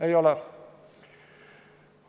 Ei ole.